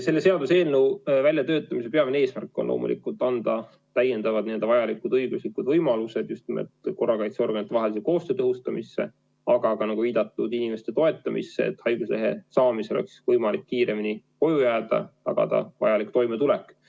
Selle seaduseelnõu väljatöötamise peamine eesmärk oli loomulikult anda täiendavad vajalikud õiguslikud võimalused just nimelt korrakaitseorganitevahelise koostöö tõhustamiseks, aga ka nagu viidatud, inimeste toetamisse, et haiguslehe saamisel oleks võimalik kiiremini koju jääda, tagada vajalik toimetulek.